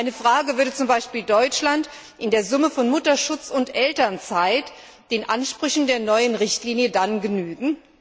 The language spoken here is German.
Meine Frage Würde zum Beispiel Deutschland in der Summe von Mutterschutz und Elternzeit den Ansprüchen der neuen Richtlinie dann genügen?